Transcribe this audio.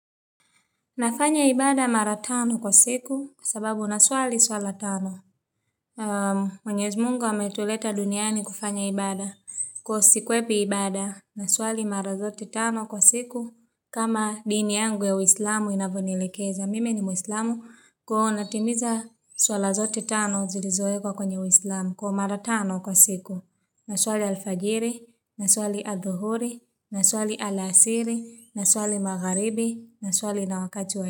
Nafanya ibada mara tano kwa siku, sababu na swali swala tano. Mwenyezi mungu ametuleta duniani kufanya ibada. Kwa sikwepi ibada, naswali mara zote tano kwa siku, kama dini yangu ya uislamu inavonilekeza. Mime ni muislamu kwa onatimiza swala zote tano zilizowekwa kwenye uislamu kwa mara tano kwa siku. Naswali alfajiri, naswali adhuhuri, naswali alasiri, naswali magharibi, naswali na wa jua.